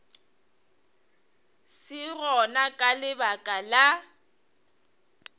se gona ka lebaka la